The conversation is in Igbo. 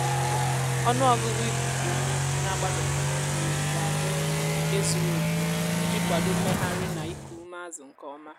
ọnụ ọgụgụ ikuku ume ná-ágbáze n'íme mmiri ga-abụ um nke zuru oke iji kwado mmegharị na iku ume azụ nke ọma.